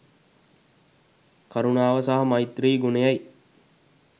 කරුණාව සහ මෛත්‍රී ගුණයයි.